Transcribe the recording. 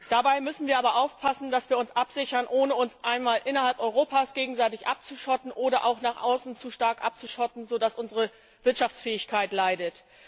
Dabei müssen wir aber aufpassen, dass wir uns absichern, ohne uns innerhalb Europas gegenseitig abzuschotten oder uns auch nach außen so stark abzuschotten, dass unsere Wirtschaftsfähigkeit leidet.